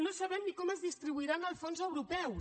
no sabem ni com es distribuiran els fons europeus